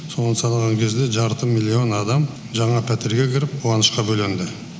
соны санаған кезде жарты миллион адам жаңа пәтерге кіріп қуанышқа бөленді